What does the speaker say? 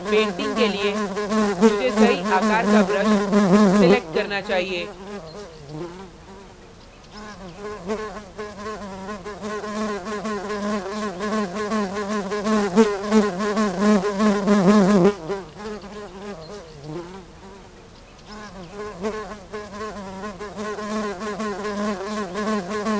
painting के लिए मुझे सही आकार का brush select करना चाहिए